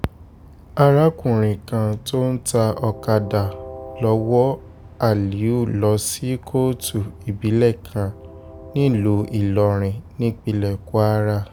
arákùnrin kan tó ń ta ọ̀kadà lọ wọ aliu lọ sí kóòtù ìbílẹ̀ kan nílùú ìlọrin nípínlẹ̀ kwara